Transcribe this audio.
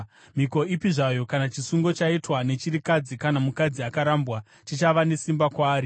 “Mhiko ipi zvayo kana chisungo chaitwa nechirikadzi kana mukadzi akarambwa chichava nesimba kwaari.